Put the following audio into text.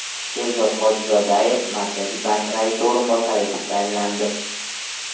Sherzod Hojizodayev Markaziy bank raisi o‘rinbosari etib tayinlandi.